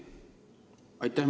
Aitäh!